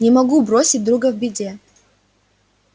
не могу бросить друга в беде